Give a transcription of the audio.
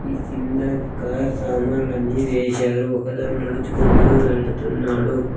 ఈ కింద కార్ సామాన్లన్నీ వేశారు ఒకతను నడుచుకుంటూ వెళ్తున్నాడు.